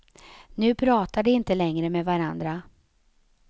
Nu pratar de inte längre med varandra.